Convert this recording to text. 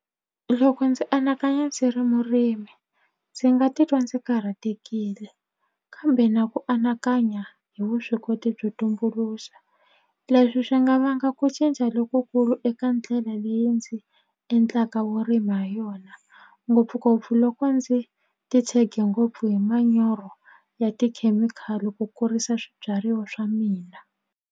Loko ndzi anakanya ndzi ri murimi ndzi nga titwa ndzi karhatekile kambe na ku anakanya hi vuswikoti byo tumbuluxa leswi swi nga vanga ku cinca lokukulu eka ndlela leyi ndzi endlaka vurimi ha yona ngopfungopfu loko ndzi ti tshege ngopfu hi manyoro ya tikhemikhali ku kurisa swibyariwa swa mina.